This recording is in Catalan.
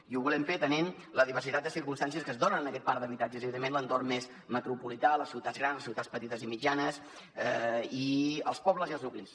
i ho volem fer atenent la diversitat de circumstàncies que es donen en aquest parc d’habitatges i evidentment l’entorn més metropolità les ciutats grans les ciutats petites i mitjanes i els pobles i els nuclis